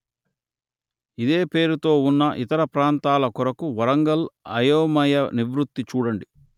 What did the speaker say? ఇదే పేరుతో ఉన్న ఇతర ప్రాంతాల కొరకు వరంగల్ అయోమయ నివృత్తి చూడండి